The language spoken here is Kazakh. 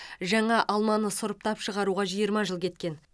жаңа алманы сұрыптап шығаруға жиырма жыл кеткен